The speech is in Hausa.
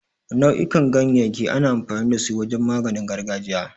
Nau'ukan ganyayyaki ana amfani da su wajen maganin gargajiya.